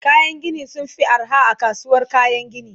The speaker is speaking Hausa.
kayan Gini sunfi arha a kasuwar kayan Gini